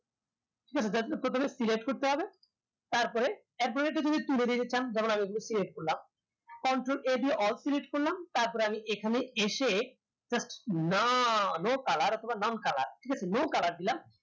প্রথমে select করতে হবে তারপরে এরপরে তুলে দিয়ে গেছিলাম যেমন আমি এগুলো select করলাম control a দিয়ে all select করলাম তারপরে আমি এখানে এসে just nocolour বা none colour ঠিকাছে no colour দিলাম